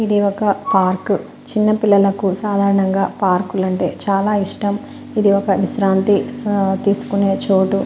ఇది ఒక పార్క్ . చిన్న పిల్లలకు సాధారణంగా పార్కులంటే చాలా ఇష్టం. ఇది ఒక విశ్రాంతి తీసుకునే చోటు.